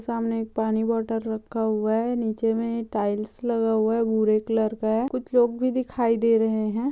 सामने एक पानी बोतल रखा हुआ है नीचे मे टाइल्स लगा हुआ है भूरे कलर का है कुछ लोग भी दिखाई दे रहे हैं।